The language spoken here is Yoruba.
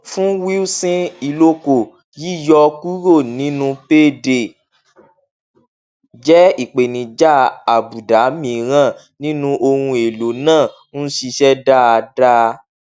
fún wilson uloko yíyọ kúrò nínú payday jẹ ìpèníjà àbùdá mìíràn nínú ohun èlò náà ń ṣiṣẹ dáadáa